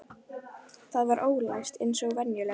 Það var ólæst eins og venjulega.